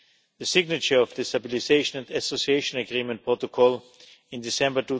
the signature of the Stabilisation and Association Agreement protocol in December